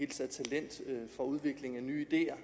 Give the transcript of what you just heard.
taget for udvikling af nye ideer